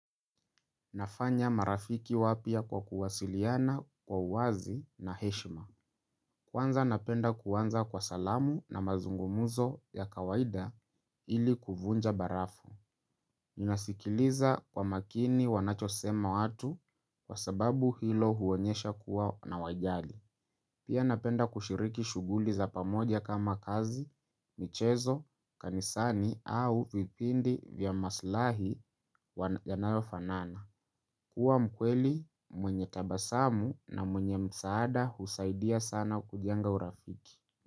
Nafanya marafiki wapya kwa kuwasiliana kwa uwazi na heshima. Kwanza napenda kuanza kwa salamu na mazungumuzo ya kawaida ili kuvunja barafu. Ninasikiliza kwa makini wanachosema watu kwa sababu hilo huonyesha kuwa unawajali. Pia napenda kushiriki shughuli za pamoja kama kazi, michezo, kanisani au vipindi vya maslahi wa yanayo fanana. Kua mkweli, mwenye tabasamu na mwenye msaada husaidia sana kujenga urafiki.